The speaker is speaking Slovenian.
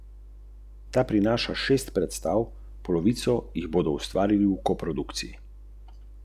Nikoli mi ni nič manjkalo.